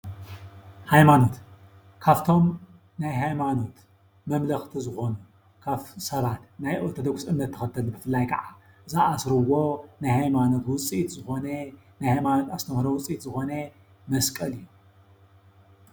ሃይማኖት ካብቶም ናይ ሃይማኖት መምለኸቲ ዝኾኑ ሰባት ናይ ኦርቶዶክስ እምነት ተኸተልቲ ብፍላይ ከዓ ዝአስርዎ ናይ ሃይማኖት ኣስተምህሮ ውፅኢት ዝኾነ ናይ ሃማኖት ኦርቶዶክስ ውፅኢት ዝኾነ መስቀል እዩ።